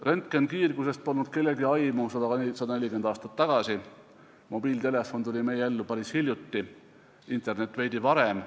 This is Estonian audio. Röntgenkiirgusest polnud kellelgi 140 aastat tagasi aimu, mobiiltelefon tuli meie ellu päris hiljuti, internet veidi varem.